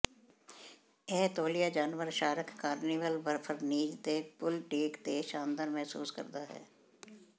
ਇਹ ਤੌਲੀਆ ਜਾਨਵਰ ਸ਼ਾਰਕ ਕਾਰਨੀਵਲ ਬਰਫੀਜ਼ ਦੇ ਪੂਲ ਡੇਕ ਤੇ ਸ਼ਾਨਦਾਰ ਮਹਿਸੂਸ ਕਰਦਾ ਹੈ